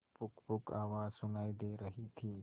पुकपुक आवाज सुनाई दे रही थी